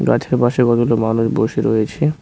গাছের পাশে কতগুলো মানুষ বসে রয়েছে।